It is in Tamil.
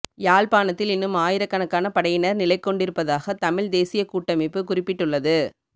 யாழ்ப்பாணத்தில் இன்னும் ஆயிரக்கணக்கான படையினர் நிலைக்கொண்டிருப்பதாக தமிழ்த் தேசியக் கூட்டமைப்பு குறிப்பிட்டுள்ளது